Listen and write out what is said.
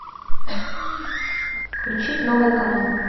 включить новый канал